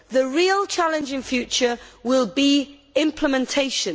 The real challenge in future will be implementation.